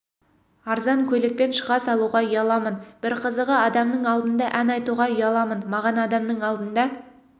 арзан көйлекпен шыға салуға ұяламын бір қызығы адамның алдында ән айтуға ұяламын маған адамның алдында